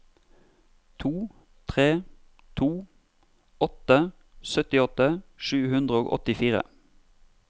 to tre to åtte syttiåtte sju hundre og åttifire